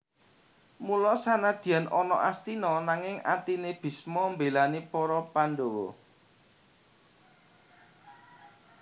Mula senadyan ana Astina nanging atine Bisma mbelani para Pandhawa